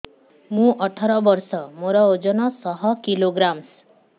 ମୁଁ ଅଠର ବର୍ଷ ମୋର ଓଜନ ଶହ କିଲୋଗ୍ରାମସ